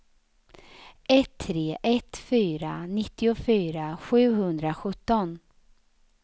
ett tre ett fyra nittiofyra sjuhundrasjutton